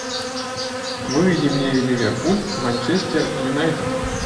выведи мне ливерпуль манчестер юнайтед